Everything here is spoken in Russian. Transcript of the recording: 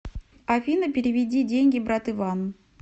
афина переведи деньги брат иван